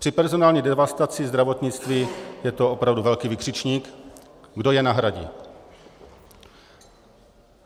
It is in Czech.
Při personální devastaci zdravotnictví je to opravdu velký vykřičník, kdo je nahradí.